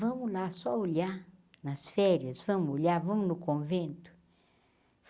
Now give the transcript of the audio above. Vamos lá, só olhar nas férias, vamos olhar, vamos no convento.